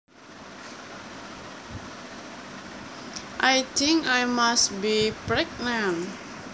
I think I must be pregnant